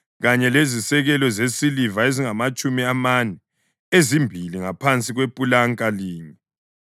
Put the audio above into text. kanye lezisekelo zesiliva ezingamatshumi amane, ezimbili ngaphansi kwepulanka linye.